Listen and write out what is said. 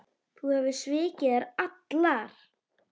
Þú hefur svikið þær allar.